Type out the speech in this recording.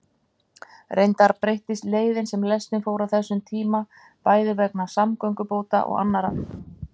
Reyndar breyttist leiðin sem lestin fór á þessum tíma, bæði vegna samgöngubóta og annarra aðstæðna.